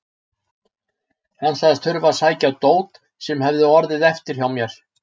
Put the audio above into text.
Hann sagðist þurfa að sækja dót sem hefði orðið eftir hjá mér.